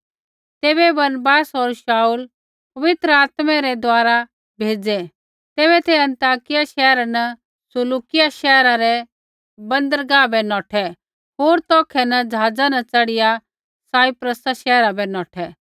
तैबै बरनबास होर शाऊल पवित्र आत्मै रै द्वारा भेज़ै तै अन्ताकिया शैहरा न सिलूकिआ शैहरा रै बन्दरगाह बै नौठै होर तौखै न जहाज़ा न च़ढ़िया साइप्रसा शैहरा बै नौठै